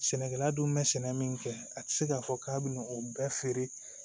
Sɛnɛkɛla dun bɛ sɛnɛ min kɛ a tɛ se k'a fɔ k'a bɛna o bɛɛ feere